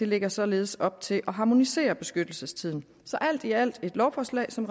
lægger således op til at harmonisere beskyttelsestiden så alt i alt et lovforslag som